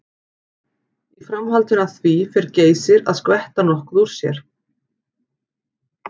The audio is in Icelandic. Í framhaldinu af því fer Geysir að skvetta nokkuð úr sér.